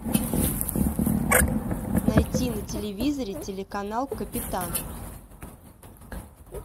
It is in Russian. найти на телевизоре телеканал капитан